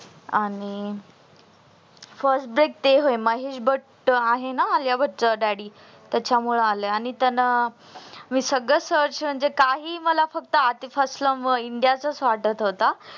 आणि first date ते व्हय महेश भट आहे ना आलिया भट च daddy त्याच मुळे आलंय आणि मी त्यांना सगळ search काही मला आधी पासन india चच वाटत होता